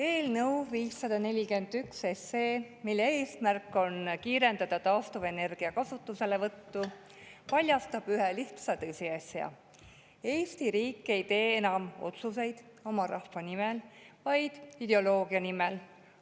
Eelnõu 541, mille eesmärk on kiirendada taastuvenergia kasutuselevõttu, paljastab ühe lihtsa tõsiasja: Eesti riik ei tee enam otsuseid oma rahva nimel, vaid ideoloogia nimel.